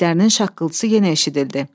Dişlərinin şaqqıltısı yenə eşidildi.